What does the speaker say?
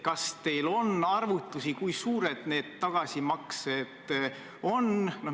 Kas teil on arvutusi, kui suured need tagasimaksed on?